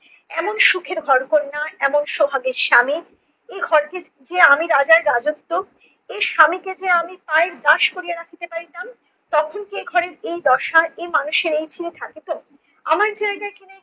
এমন সুখের ঘর কন্যা এমন সোহাগের স্বামী এই ঘরে যে আমি রাজার রাজত্ব এই স্বামীকে যে আমি পায়ের দাস করিয়া রাখিতে পারিতাম, তখন কি ঘরের এই দশা এই মানুষের এই থাকিত? আমার জায়গায় কি না